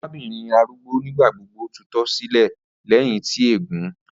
Arabinrin arugbo nigbagbogbo tutọ si ilẹ lẹhin ti eegun